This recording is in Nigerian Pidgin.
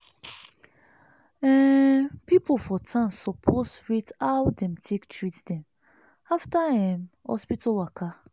um people for town suppose rate how dem take treat dem after um hospital waka.